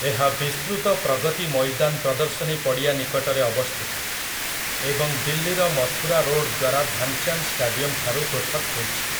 ଏହା ବିସ୍ତୃତ ପ୍ରଗତି ମଇଦାନ୍ ପ୍ରଦର୍ଶନୀ ପଡ଼ିଆ ନିକଟରେ ଅବସ୍ଥିତ, ଏବଂ ଦିଲ୍ଲୀର ମଥୁରା ରୋଡ଼୍ ଦ୍ୱାରା ଧ୍ୟାନଚାନ୍ଦ୍‌ ଷ୍ଟାଡିୟମଠାରୁ ପୃଥକ୍ ହୋଇଛି ।